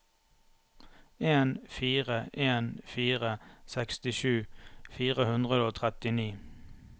en fire en fire sekstisju fire hundre og trettini